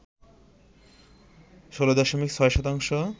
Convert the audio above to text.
১৬ দশমিক ৬ শতাংশ